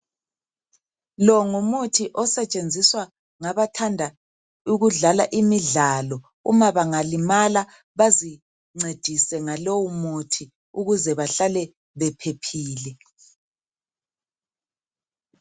Lo ngomuthi osetshenziswa ngabathanda ukudlala imidlalo, uma bangalimala bazincedise ngalowu muthi ukuze bahlale bephephile.